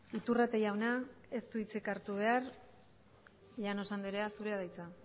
iturrate jauna ez du hitzik hartu behar llanos andrea zurea da hitza